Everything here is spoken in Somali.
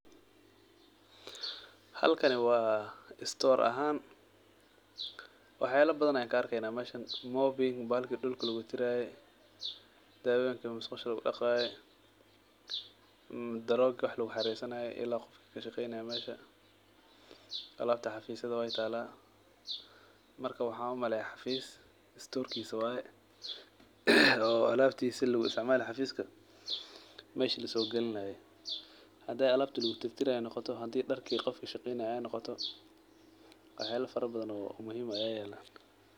Halkani wa store ahaan, waxyala badhan an kaarkeynaah meshan mopping bahalki dulka lagutirtiraye, dawoyinki musqusha lagudaqaye , darogi wax laguxaresanaye , ila qofki kashaqeynaye mesha . Alabta xafisyada way talaah, markaa waxan umaleyaah xafis storkisa waye, oo alabtisa laguisticmalaye xafiksa lasogalinaye waye. Haday alabta lagutirtaraye noqoto haday darki dadka kashaqeynaye noqoto, waxyala fara badhan oo muhim ah aa yalan.